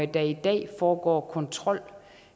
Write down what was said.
der i dag foregår kontrol